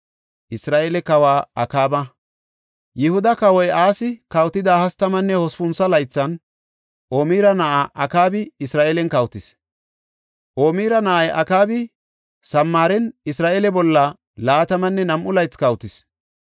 Yihuda Kawoy Asi kawotida hastamanne hospuntho laythan, Omira na7ay Akaabi Isra7eelen kawotis. Omira na7ay Akaabi Samaaren Isra7eele bolla laatamanne nam7u laythi kawotis.